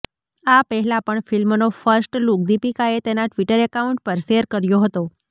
આ પહેલા પણ ફિલ્મનો ફર્સ્ટ લુક દીપિકાએ તેના ટ્વીટર એકાઉન્ટ પર શેર કર્યો હતો